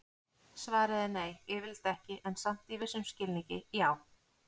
Svarið er nei, yfirleitt ekki, en samt í vissum skilningi já!